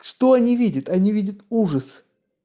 что они видят они видят ужас